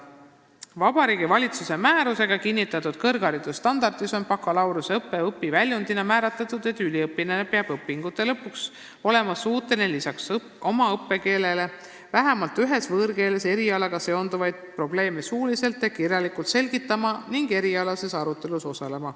Vabariigi Valitsuse määrusega kinnitatud kõrgharidusstandardis on bakalaureuseõppe õpiväljundina määratletud, et üliõpilane peab õpingute lõpuks olema suuteline lisaks oma õppekeelele vähemalt ühes võõrkeeles selgitama erialaga seonduvaid probleeme suuliselt ja kirjalikult ning osalema erialases arutelus.